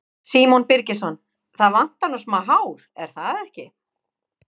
Símon Birgisson: Það vantar nú smá hár, er það ekki?